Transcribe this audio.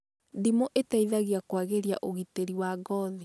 Ndimũ ĩteithagia kũagiria ũgitĩri wa ngothi